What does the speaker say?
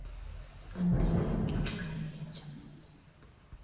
андреем николаевичем